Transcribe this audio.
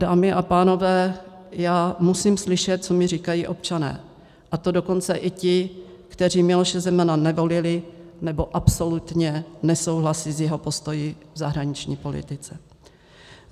Dámy a pánové, já musím slyšet, co mi říkají občané, a to dokonce i ti, kteří Miloše Zemana nevolili nebo absolutně nesouhlasí s jeho postoji v zahraniční politice.